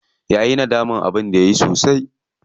Yayi nadaman abin da yayi sosai.